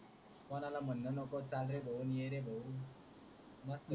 कोणाला मनन नको चाल रे भाऊ न ये रे भाऊ मस्त